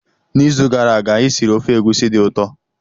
N'izu gara aga, anyị siri ofe egusi dị ụtọ.